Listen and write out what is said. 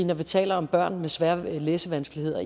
når vi taler om børn med svære læsevanskeligheder